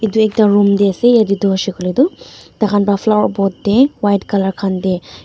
edu ekta room tae ase yaete toh hoishey koilae tu tai khan pa flower pot tae white colour khan tae.